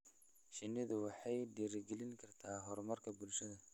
Shinnidu waxay dhiirigelin kartaa horumarka bulshada.